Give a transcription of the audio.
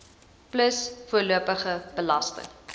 plus voorlopige belasting